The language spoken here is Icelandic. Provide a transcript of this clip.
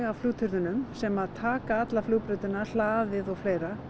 flugturninum sem taka alla flugbrautina flughlaðið og fleira